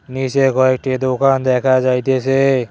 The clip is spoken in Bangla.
নীচে কয়েকটি দোকান দেখা যাইতেছে।